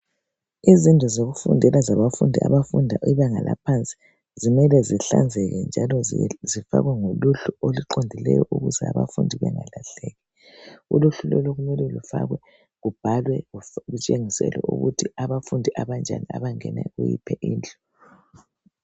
Izindlu zokufundela zabafundi abafunda ibanga eliphansi zimele zihlanzeke njalo zibhaliwe ngoluhlu oluqondileyo ukuze abafundi bengalahleki. Uluhlu lolu mele lubhalwe ngendlela oluqondileyo. ukuze abafundi babekwazi ukuthi ngabafundi abanjani abangena kulololuhlu.